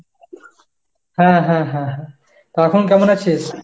হ্যাঁ হ্যাঁ হ্যাঁ হ্যাঁ, তা এখন কেমন আছিস?